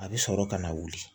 A bɛ sɔrɔ ka na wuli